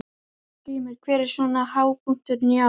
Hallgrímur, hver er svona hápunkturinn í ár?